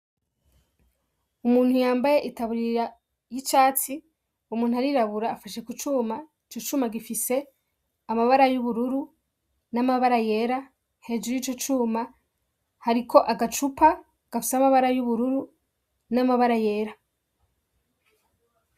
Umuntu yambaye itaburira y'icatsi umuntu arirabura afashe ku cuma ico cuma gifise amabara y'ubururu n'amabara yera hejuru y'ico cuma hariko agacupa gafise amabara y'ubururu n'amabara yera.